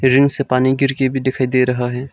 Ring से पानी गिरके भी दिखाई दे रहा है।